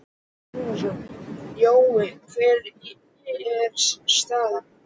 Telma Tómasson: Jói, hver er staðan?